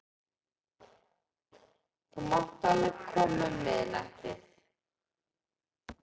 Þú mátt alveg koma um miðnættið.